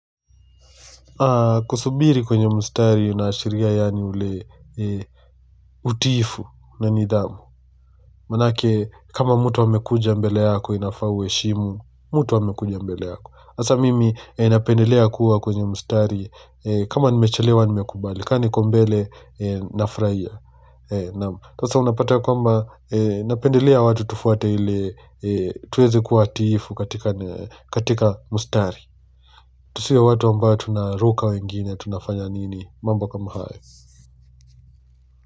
Kusubiri kwenye mstari unaashiria yani ule utiifu na nidhamu Manake kama mtu amekuja mbele yako inafaa uheshimu mtu amekuja mbele yako sasa mimi napendelea kuwa kwenye mustari kama nimechelewa nimekubali. Kama niko mbele nafurahia. Nam. Sasa unapata kwamba napendelea watu tufuate ili Tuwezi kuwa watiifu katika katika mstari Tusiwe watu ambao tunaruka wengine tunafanya nini mambo kama hayo.